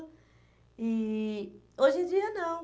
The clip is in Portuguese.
E hoje em dia não.